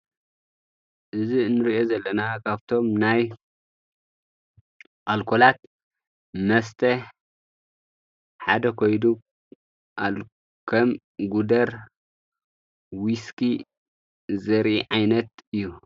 እዚ ንሪኦ ዘለና ካቶም ናይ ኣልኮላት መስተ ሓደ ኮይኑ ከም ጉደር ዊስኪ ዘርኢ ዓይነት እዩ።